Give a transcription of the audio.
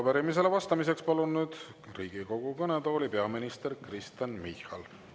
Arupärimisele vastamiseks palun nüüd Riigikogu kõnetooli peaminister Kristen Michali.